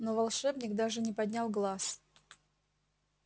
но волшебник даже не поднял глаз